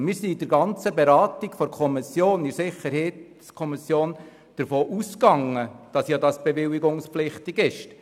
Wir sind in der Kommission während der gesamten Beratung davon ausgegangen, dass das bewilligungspflichtig ist.